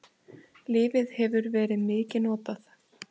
Lyfið hefur verið mikið notað.